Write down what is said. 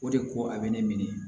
O de ko a bɛ ne minɛ